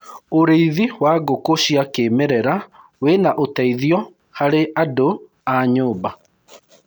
ũrĩithi wa ngũkũ cia kĩmerera wina uteithio harĩ andu a nyumba